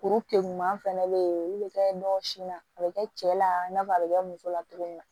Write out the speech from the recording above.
Kuru keguman fɛnɛ be yen olu be kɛ ɲɔ sin na a be kɛ cɛ la i n'a fɔ a be kɛ muso la cogo min na